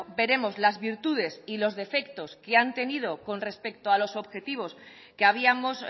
veremos las virtudes y los defectos que han tenido con respecto a los objetivos que habíamos